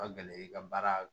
Ka gɛlɛ i ka baara